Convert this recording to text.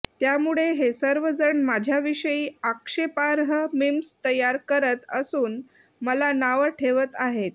त्यामुळे हे सर्वजण माझ्याविषयी आक्षेपार्ह मिम्स तयार करत असून मला नावं ठेवत आहेत